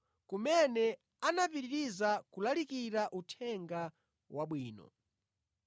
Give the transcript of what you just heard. kumene anapitiriza kulalikira Uthenga Wabwino.